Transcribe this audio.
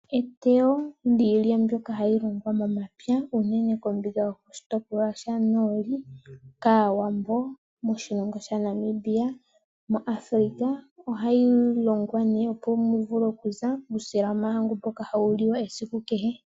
Eteyo lyiilya mbyoka hayi longwa momapya uunene kombinga yokoshitopolwa shoonoli kaAwambo moshilongo shaNamibia naAfrika. Ohayi longwa nee opo muvule okuza uusila womahangu mboka hawu liwa esiku kehe.